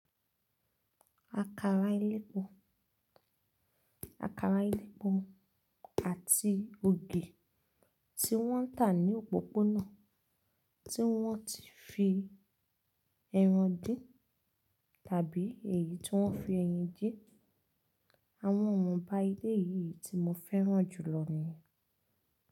Àkàrà elépo, àkàrà elépo àti ogi tí wọ́n ń tà ní òpópónà tí wọ́n ti fi ẹran dín tàbí èyí tí wọ́n fi ẹyin dín, àwọn ohun bá ilé yìí tí mo fẹ́ràn jù lọ ni.